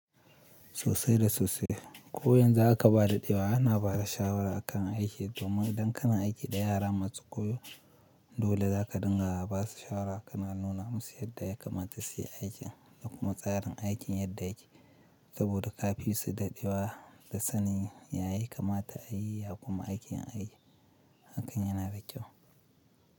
Sosai da sosai. Ko yanzu aka ba da ɗewa ana ba da shawara akan aiki, domin idan kana aiki da yara masu koyo dole zaka dinga ba su shawara kana nuna musu yadda ya kamata su yi aikin da kuma tsarin aikin yadda yake saboda kafin su daɗe wa da sanin ya yi kamata a yi ya kuma aikin a yi hakan yana da kyau.